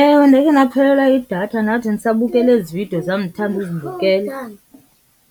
Ewe, ndakhe ndaphelelwa yidatha. Ndathi ndisabukele ezi vidiyo zam ndithanda uzibukela.